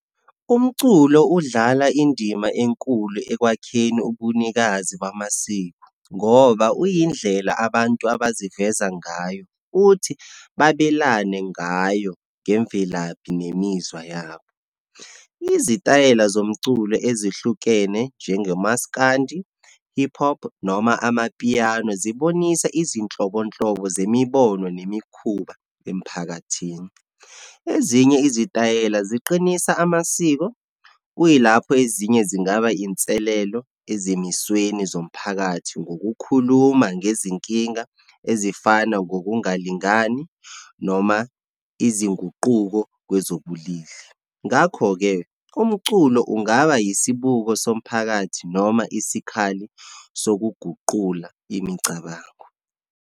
Umculo udlala indima enkulu ekwakheni ubunikazi bamasiko, ngoba uyindlela abantu abazivezayo ngayo. Uthi babelane ngayo ngemvelaphi nemizwa yabo. Izitayela zomculo ezihlukene njengemaskandi, hip hop, noma amapiano, zibonisa izinhlobonhlobo zemibono nemikhuba emphakathini. Ezinye izitayela ziqinisa amasiko, kuyilapho ezinye zingaba inselelo ezimisweni zomphakathi ngokukhuluma ngezinkinga ezifana ngokungalingani, noma izinguquko kwezobulili. Ngakho-ke umculo ungaba yisibuko somphakathi, noma isikhali sokuguqula imicabango.